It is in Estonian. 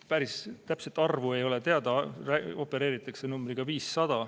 Päris täpset arvu ei ole teada, opereeritakse numbriga 500.